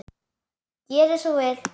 Gerið svo vel!